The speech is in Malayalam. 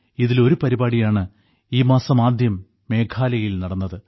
ഇതിൽ ഒരു പരിപാടിയാണ് ഈ മാസം ആദ്യം മേഘാലയയിൽ നടന്നത്